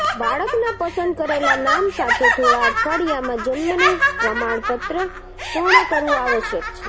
બાળકના પસંદ કરેલા નામ સાથે થોડા અઠવાડિયામાં જન્મનું પ્રમાણપત્ર પૂર્ણ કરવું આવશ્યક છે